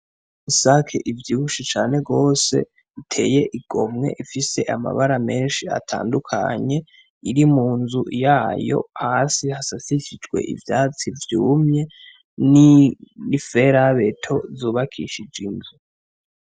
Isake ivyibushe cane gose iteye igomwe ifise amabara menshi atandukanye iri munzu yayo, hasi hasasishijwe ivyatsi vyumye n'iferabeto zubakishije inzu.